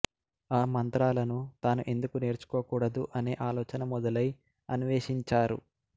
ఆ మంత్రాలను తాను ఎందుకు నేర్చుకోకూడదు అనే ఆలోచన మొదలై అన్వేషించారు